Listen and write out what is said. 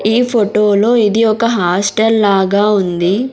ఈ ఫోటోలో ఇది ఒక హాస్టల్ లాగా ఉంది.